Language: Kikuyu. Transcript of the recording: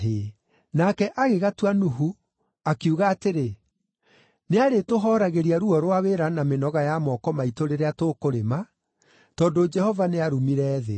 Nake agĩgatua Nuhu, akiuga atĩrĩ, “Nĩarĩtũhooragĩria ruo rwa wĩra na mĩnoga ya moko maitũ rĩrĩa tũkũrĩma, tondũ Jehova nĩarumire thĩ.”